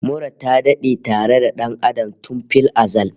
Mura ta dade tare da dan Adam tun fil azal